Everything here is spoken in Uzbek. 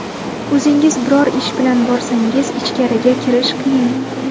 O‘zingiz biror ish bilan borsangiz, ichkariga kirish qiyin.